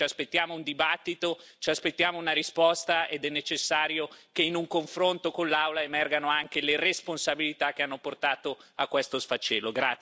Ci aspettiamo una discussione e una risposta ed è necessario che in un confronto con l'Aula emergano anche le responsabilità che hanno portato a questo sfacelo.